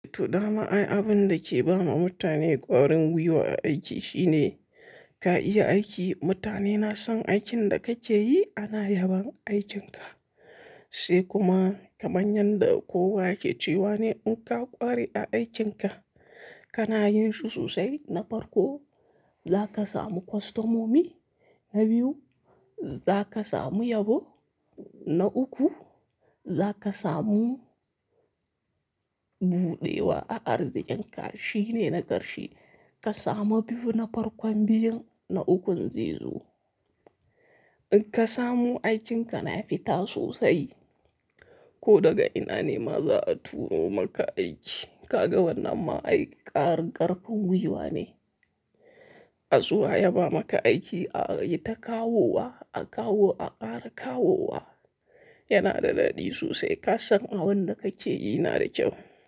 Todama ai abin da ke ba ma mutane ƙwarin gwiwa a aiki shine ka iya aiki. Mutane na son aikin da kake yi ana yabon aikinka. Sai kuma kamar yadda kowa ke cewa ne in ka ƙware a aikinka kana yin su sosai na farko za ka samu kwastomomi, na biyu za ka samu yabo, na uku za ka samu buɗewa a arziƙinka. Shi ne na ƙarshe ka samu biyu na farkon biyun na ukun zai zo. In ka samu aikinka na fita sosai ko daga ina ne ma za a turo maka aiki. Ka ga wannan ma ai ƙarƙarfin gwiwa ne. A zuwa ya ba maka aiki a yi ta kawowa, a kawo a ƙara kawowa yana da daɗi sosai. Ka san abun da kake yi na da kyau.